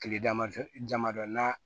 Kile damadɔ jama dɔn n'a